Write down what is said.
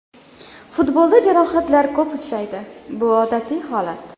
Futbolda jarohatlar ko‘p uchraydi, bu odatiy holat.